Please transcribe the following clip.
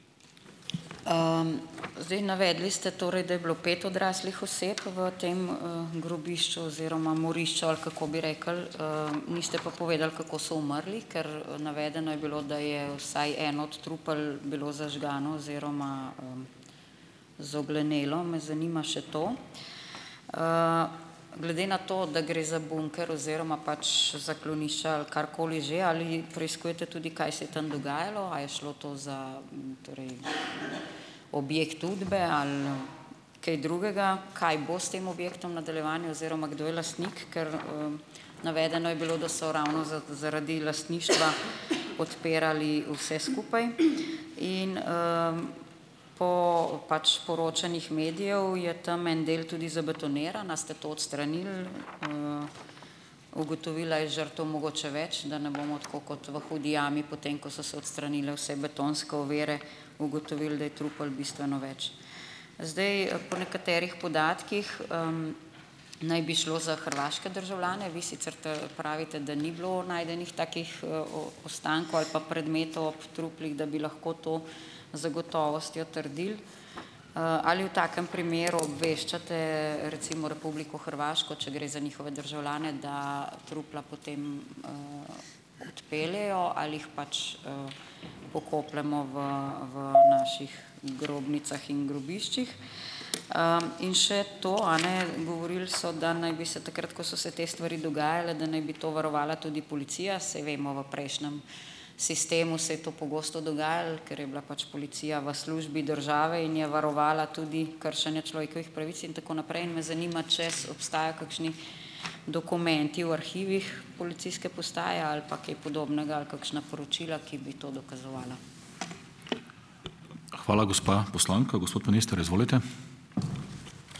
Zdaj navedli ste torej, da je bilo pet odraslih oseb v tem grobišču oziroma morišču, ali kako bi rekli, niste pa povedali, kako so umrli, ker navedeno je bilo, da je vsaj eno od trupel bilo zažgano oziroma zoglenelo. Me zanima še to. Glede na to, da gre za bunker oziroma pač zaklonišče ali karkoli že, ali preiskujete tudi, kaj se je tam dogajalo. A je šlo to za, torej objekt Udbe ali kaj drugega. Kaj bo s tem objektom v nadaljevanju oziroma kdo je lastnik? Ker navedeno je bilo, da so ravno zaradi lastništva odpirali vse skupaj. In po pač poročanjih medijev je tam en del tudi zabetoniran. Ali ste to odstranili, ugotovili, a je žrtev mogoče več, da ne bomo tako kot v Hudi jami potem, ko so se odstranile vse betonske ovire, ugotovili, da je trupel bistveno več. Zdaj po nekaterih podatkih naj bi šlo za hrvaške državljane. Vi sicer pravite, da ni bilo najdenih takih ostankov ali pa predmetov ob truplih, da bi lahko to zagotovostjo trdili. Ali v takem primeru obveščate recimo Republiko Hrvaško, če gre za njihove državljane, da trupla potem odpeljejo ali jih pač pokopljemo v v naših grobnicah in grobiščih. In še to, a ne. Govorili so, da naj bi se takrat, ko so se te stvari dogajale, da naj bi to varovala tudi policija. Saj vemo, v prejšnjem sistemu se je to pogosto dogajalo, ker je bila pač policija v službi države in je varovala tudi kršenje človekovih pravic in tako naprej, in me zanima, če obstaja kakšni dokumenti v arhivih policijske postaje ali pa kaj podobnega ali kakšna poročila, ki bi to dokazovala.